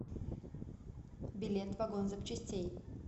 билет вагон запчастей